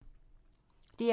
DR2